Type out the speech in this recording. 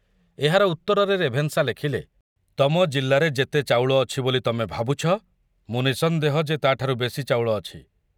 ଏହାର ଉତ୍ତରରେ ରେଭେନ୍ସା ଲେଖିଲେ ତମ ଜିଲ୍ଲାରେ ଯେତେ ଚାଉଳ ଅଛି ବୋଲି ତମେ ଭାବୁଛ, ମୁଁ ନିଃସନ୍ଦେହ ଯେ ତାଠାରୁ ବେଶି ଚାଉଳ ଅଛି।